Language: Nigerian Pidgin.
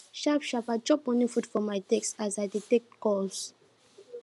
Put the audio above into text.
sharp sharp i chop morning food for my desk as i dey dey take calls